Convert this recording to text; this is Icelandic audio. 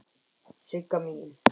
Sigga mín.